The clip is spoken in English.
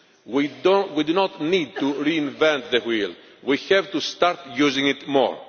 We do not need to reinvent the wheel we have to start using it more.